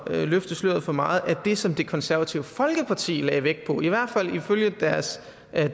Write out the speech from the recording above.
løfte sløret for meget at det som det konservative folkeparti lagde vægt på i hvert fald ifølge deres